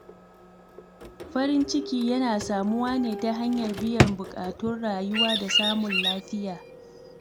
Farin ciki yana samuwa ne ta hanyar biyan bukatun rayuwa da samun lafiya.